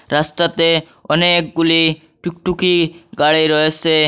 রাস্তাতে অনেকগুলি টুকটুকি গাড়ি রয়েছে।